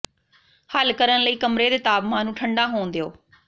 ਹੱਲ ਕਰਨ ਲਈ ਕਮਰੇ ਦੇ ਤਾਪਮਾਨ ਨੂੰ ਠੰਢਾ ਹੋਣ ਦਿਓ